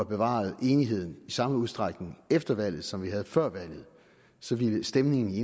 bevaret enigheden i samme udstrækning efter valget som vi havde før valget så ville stemningen i